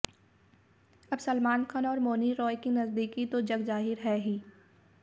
अब सलमान खान और मौनी रॉय की नज़दीकी तो जगज़ाहिर है ही